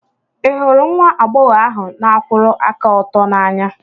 Ị hụrụ nwa agbọghọ ahụ n'akwuru aka oto n'anya?